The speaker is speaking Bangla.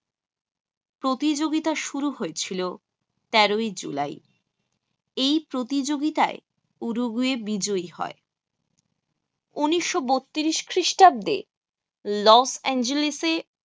প্রতিযোগিতা শুরু হয়েছিল তেরো ই July এই প্রতিযোগিতায় উরুগুয়ে বিজয়ী হয়। উনশ শ বত্রিশ খ্রিস্টাব্দে লস এঞ্জেলেসে